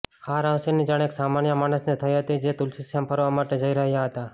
આ રહસ્યની જાણ એક સામાન્ય માણસને થઇ હતી જે તુલસીશ્યામ ફરવા માટે જઇ રહ્યા હતા